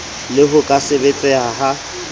le ho ka sebetseha ha